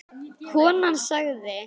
Konan sagði